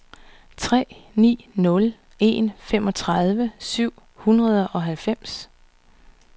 tre ni nul en femogtredive syv hundrede og halvfems